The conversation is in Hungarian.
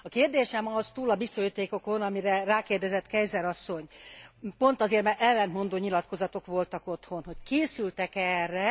A kérdésem az túl a biztosítékokon, amire rákérdezett Keyser asszony, pont azért, mert ellentmondó nyilatkozatok voltak otthon hogy készültek e erre.